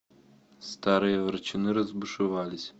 старые ворчуны разбушевались